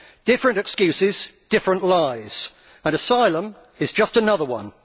Different excuses, different lies and asylum is just another one.